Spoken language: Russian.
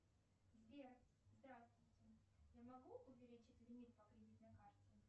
сбер здравствуйте я могу увеличить лимит по кредитной карте